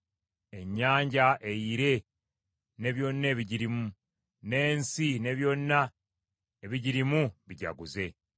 Ennyanja eyire ne byonna ebigirimu, n’ensi ne byonna ebigirimu bijaguze.